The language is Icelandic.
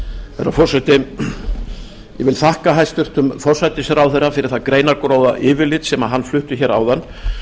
herra forseti ég vil þakka hæstvirtum forsætisráðherra fyrir það greinargóða yfirlit sem hann flutti hér áðan